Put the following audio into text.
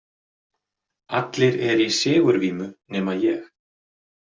Allir eru í sigurvímu nema ég.